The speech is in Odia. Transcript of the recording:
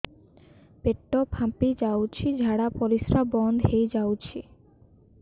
ପେଟ ଫାମ୍ପି ଯାଉଛି ଝାଡା ପରିଶ୍ରା ବନ୍ଦ ହେଇ ଯାଉଛି